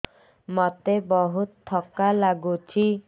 ମୋତେ ବହୁତ୍ ଥକା ଲାଗୁଛି